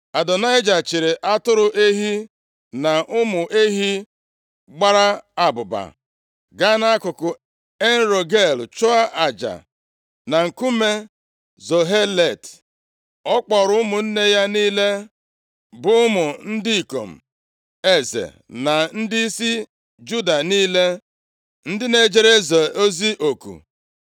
Adonaịja chịịrị atụrụ, ehi na ụmụ ehi gbara abụba, gaa nʼakụkụ En-Rogel chụọ aja na Nkume Zohelet. Ọ kpọrọ ụmụnne ya niile bụ ụmụ ndị ikom eze na ndịisi Juda niile, ndị na-ejere eze ozi oku,